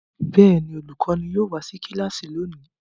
Bẹ́ẹ̀ ni, olùkọ́ní yóò wá sí kíláàsì lónìí.